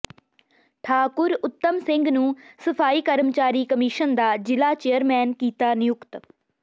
ਠਾਕੁਰ ਉੱਤਮ ਸਿੰਘ ਨੂੰ ਸਫਾਈ ਕਰਮਚਾਰੀ ਕਮਿਸ਼ਨ ਦਾ ਜ਼ਿਲ੍ਹਾ ਚੇਅਰਮੈਨ ਕੀਤਾ ਨਿਯੁਕਤ